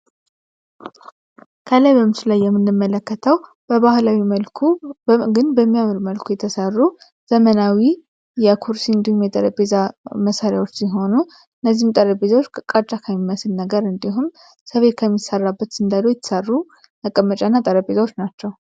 ከላይ በምሱ ላይ የምንመለከተው በባህላዊ መልኩ ግን በሚያምር መልኩ የተሠሩ ዘመናዊ የኩርሲንዱም የጠረቤዛ መሠሪያዎች ሲሆኑ እነዚህም ጠረቤዛዎች ከቃጫ ካይሚያስል ነገር እንዲሁም ሰቤት ከሚሰራበት ስንደዶ ይተሰሩ አቀመጫእና ጠረጴዛዎች ናቸው፡፡